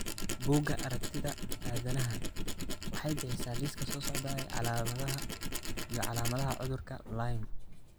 Bugga aragtiyaha aanadanaha waxay bixisaa liiska soo socda ee calaamadaha iyo calaamadaha cudurka Lyme.